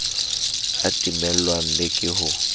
a timellwang le ke ho